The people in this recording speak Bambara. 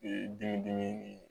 Ee dimi dimi nin